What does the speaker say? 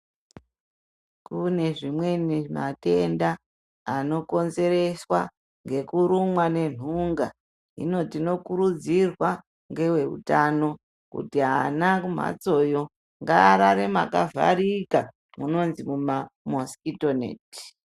Kune zvimweni , matenda anokonzereswa ngekurumwa nenhunga , hino tinokurudzirwa ngeveutano kuti vana kumhatsoyo ngaarare makavharika munonzi muma mosikito -neti